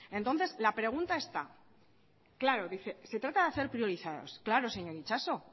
entonces la pregunta está claro se trata de hacer priorizados claro señor itxaso